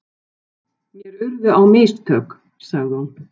Mér urðu á mistök, sagði hún.